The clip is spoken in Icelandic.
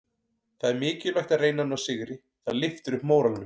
Það er mikilvægt að reyna að ná sigri, það lyftir upp móralnum.